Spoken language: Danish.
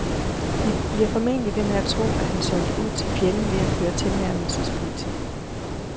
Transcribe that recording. De bliver formentlig ved med at tro, at han solgte ud til fjenden ved at føre tilnærmelsespolitik.